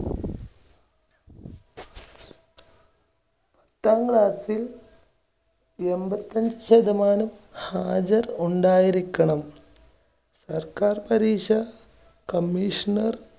പത്താം class ൽ എൺപത്തഞ്ച് ശതമാനം ഹാജർ ഉണ്ടായിരിക്കണം. സർക്കാർ പരീക്ഷ commissioner